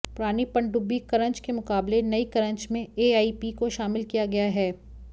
पुरानी पनडुब्बी करंज के मुकाबले नई करंज में एआईपी को शामिल किया गया है